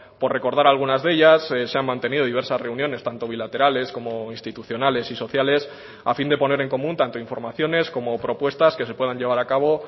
por recordar algunas de ellas se han mantenido diversas reuniones tanto bilaterales como institucionales y sociales a fin de poner en común tanto informaciones como propuestas que se puedan llevar a cabo